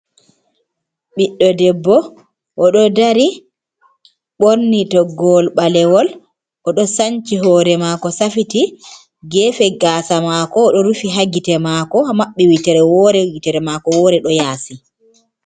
Ɓiɗɗo debbo, oɗo dari, ɓorni toggowol ɓalewol, oɗo sanci hore mako safiti, gefe gasa mako oɗo rufi hagite mako maɓɓe gitere wore, gitere mako wore ɗo yasi.